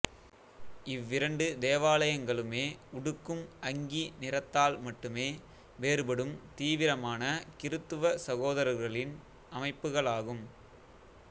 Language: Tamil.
இவ்விரண்டு தேவாலயங்களுமே உடுக்கும் அங்கி நிறத்தால் மட்டுமே வேறுபடும் தீவிரமான கிறித்துவ சகோதரர்களின் அமைப்புகளாகும்